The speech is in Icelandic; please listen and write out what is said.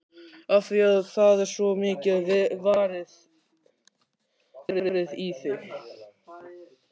Af því að það er svo mikið varið í þig.